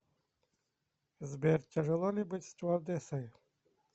сбер тяжело ли быть стюардессой